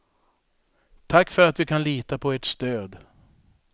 Tack för att vi kan lita på ert stöd.